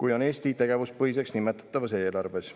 kui on Eesti tegevuspõhiseks nimetatavas eelarves.